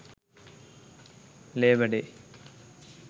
labour day